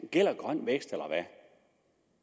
gælder grøn vækst eller hvad